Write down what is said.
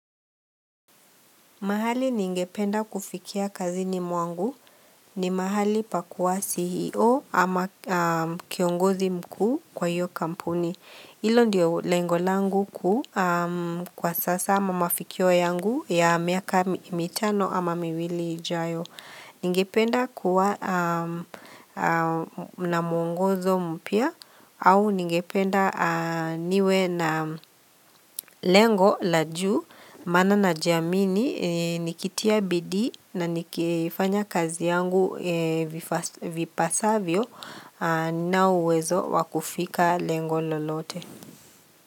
Mahali ningependa kufikia kazini mwangu ni mahali pakuwa CEO, ama kiongozi mkuu kwa hiyo kampuni. Hilo ndilo lengo langu kuu kwa sasa, ama mafikio yangu ya miaka mitano ama miwili ijayo. Ningependa kuwa na mwongozo mpya au ningependa niwe na lengo la juu maana najamini nikitia bidii na nikifanya kazi yangu vipasavyo na uwezo wakufika lengo lolote.